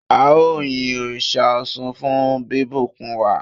ao yin òrìṣà Òsun fún bibùkún wa